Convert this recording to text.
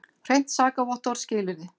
Hreint sakavottorð skilyrði.